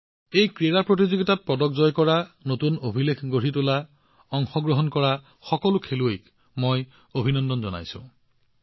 পদক অৰ্জন কৰা নতুন অভিলেখ গঢ়ি তোলা সকলো খেলুৱৈ এই ক্ৰীড়া প্ৰতিযোগিতাত অংশগ্ৰহণ কৰা সকলো খেলুৱৈক মই অভিনন্দন জনাইছো